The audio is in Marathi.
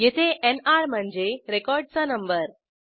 येथे एनआर म्हणजे रेकॉर्डचा नंबर